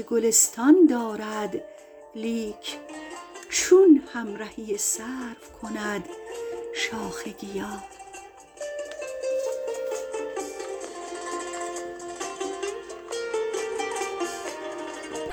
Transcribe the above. گلستان دارد لیک چون همرهی سرو کند شاخ گیا